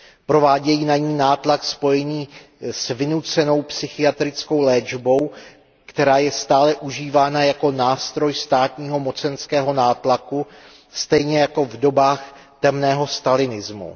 Provádějí na ni nátlak spojený s vynucenou psychiatrickou léčbou, která je stále užívána jako nástroj státního mocenského nátlaku stejně jako v dobách temného stalinismu.